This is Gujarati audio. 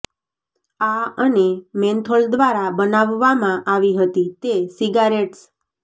આ અને મેન્થોલ દ્વારા બનાવવામાં આવી હતી તે સિગારેટ્સ